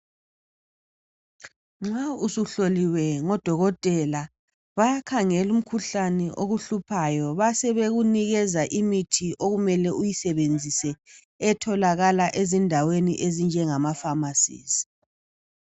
Nxa usuhloliwe ngoDokotela, bayakhangela umkhuhlane okuhluphayo basebekunikeza imithi okumele uyisebenzise etholakala ezindaweni ezinjengama Phamarcy.